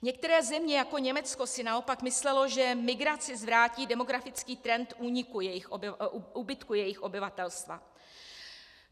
Některé země jako Německo si naopak myslelo, že migrací zvrátí demografický trend úbytku jejich obyvatelstva.